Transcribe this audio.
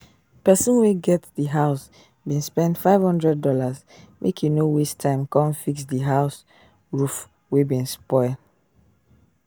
pesin wey get di house bin spend five hundred dollars make e no waste time come fix dia house roof wey bin spoil